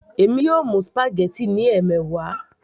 èmi yóò mú spaghetti ní ẹmẹwa